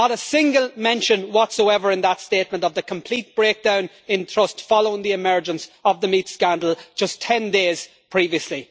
Not a single mention whatsoever in that statement of the complete breakdown in trust following the emergence of the meat scandal just ten days previously.